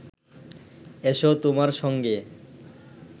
এসো তোমার সঙ্গে